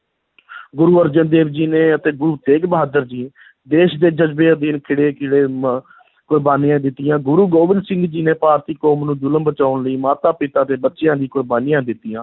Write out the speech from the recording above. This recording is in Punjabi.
ਗੁਰੂ ਅਰਜਨ ਦੇਵ ਜੀ ਨੇ ਅਤੇ ਗੁਰੂ ਤੇਗ ਬਹਾਦਰ ਜੀ ਦੇਸ਼ ਦੇ ਜਜ਼ਬੇ ਅਧੀਨ ਖਿੜੇ ਕੁਰਬਾਨੀਆਂ ਦਿੱਤੀਆਂ, ਗੁਰੂ ਗੋਬਿੰਦ ਸਿੰਘ ਜੀ ਨੇ ਭਾਰਤੀ ਕੌਮ ਨੂੰ ਜ਼ੁਲਮ ਬਚਾਉਣ ਲਈ ਮਾਤਾ-ਪਿਤਾ ਦੇ ਬੱਚਿਆਂ ਦੀ ਕੁਰਬਾਨੀਆਂ ਦਿੱਤੀਆਂ।